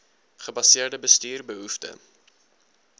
gebaseerde bestuur behoefte